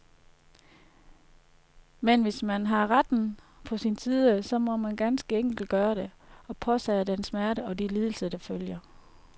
Men hvis man har retten på sin side, så må man ganske enkelt gøre det, og påtage sig den smerte og de lidelser, der følger.